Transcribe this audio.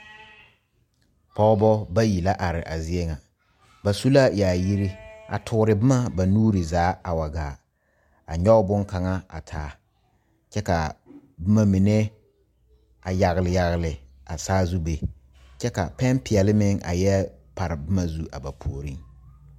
Pɔgeba bayi la are a zie ŋa ba su la yaayiri a toore boma ba nuure zaa a wa gaa ka nyɔge boŋkaŋa a taa kyɛ ka boma mine a yagle yagle a saa zu be kyɛ ka pɛne peɛle mine a yɛ pare boma zu a ba puori